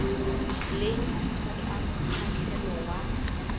leng ditho tsa mokgahlelo wa